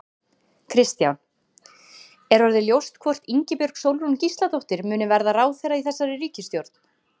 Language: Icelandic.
Kristján: Er orðið ljóst hvort að Ingibjörg Sólrún Gísladóttir, muni verða ráðherra í þessari ríkisstjórn?